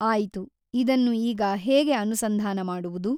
ಆಯಿತು ಇದನ್ನು ಈಗ ಹೇಗೆ ಅನುಸಂಧಾನ ಮಾಡುವುದು?